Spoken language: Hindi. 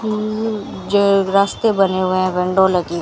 हम्म जो रास्ते बने हुए है विंडो लगी--